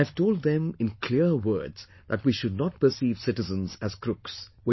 And I have told them in clear words that we should not perceive citizens as crooks